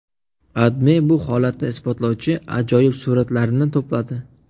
AdMe bu holatni isbotlovchi ajoyib suratlarni to‘pladi .